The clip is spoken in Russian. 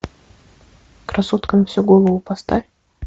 красотка на всю голову поставь